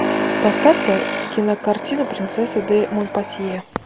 поставь ка кинокартину принцесса де монпасье